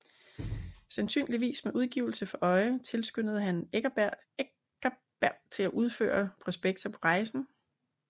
Sandsynligvis med udgivelse for øje tilskyndede han Eckersberg til at udføre prospekter på rejsen